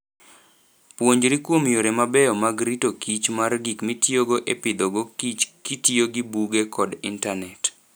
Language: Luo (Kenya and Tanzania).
Puonjri kuom yore mabeyo mag rito kichr mar gik mitiyogo e pidhogo kich kitiyo gi buge, kod Intanet.